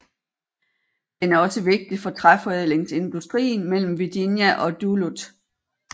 Den er også vigtig for træforædlingsindustrien mellem Virginia og Duluth